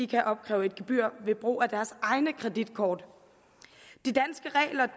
kan opkræve et gebyr ved brug af deres egne kreditkort